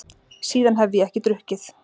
Síðan hef ég ekki drukkið.